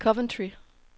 Coventry